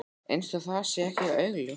Eins og það sé ekki augljóst.